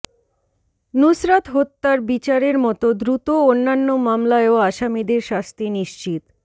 নুসরাত হত্যার বিচারের মতো দ্রুত অন্যান্য মামলায়ও আসামিদের শাস্তি নিশ্চিত